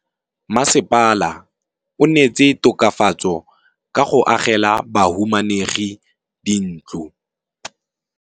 Mmasepala o neetse tokafatsô ka go agela bahumanegi dintlo.